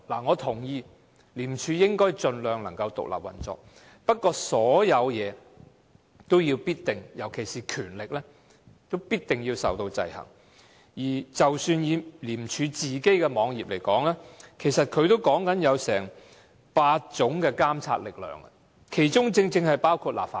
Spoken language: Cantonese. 我認同廉署應該盡量獨立運作，不過，所有事情也必定要受到制衡，即使是廉署本身的網頁，也提及8種監察力量，其中正正包括立法會。